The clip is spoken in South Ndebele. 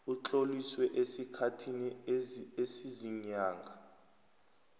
utloliswe esikhathini esiziinyanga